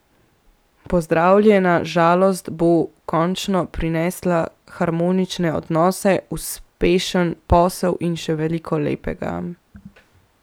Pozdravljena žalost bo končno prinesla harmonične odnose, uspešen posel in še veliko lepega.